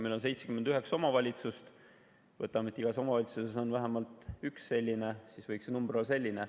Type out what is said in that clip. Meil on 79 omavalitsust, oletame, et igas omavalitsuses on vähemalt üks selline, siis võiks ka see number olla selline.